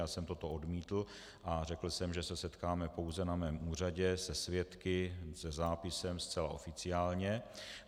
Já jsem to odmítl a řekl jsem, že se setkáme pouze na mém úřadě se svědky, se zápisem, zcela oficiálně.